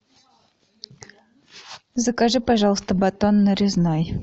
закажи пожалуйста батон нарезной